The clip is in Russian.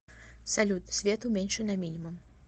салют свет уменьши на минимум